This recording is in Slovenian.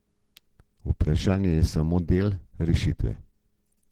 Varčevanje je samo del rešitve.